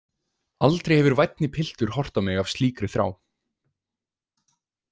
Aldrei hefur vænni piltur horft á mig af slíkri þrá.